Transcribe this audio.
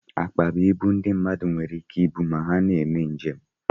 Akpa bụ ibu ndị mmadụ nwere ike ibu mgbe ha na-eme njem